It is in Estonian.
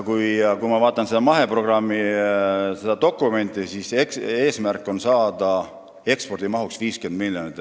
Kui ma vaatan seda maheprogrammi dokumenti, siis selle järgi on eesmärk saada ekspordimahuks 50 miljonit.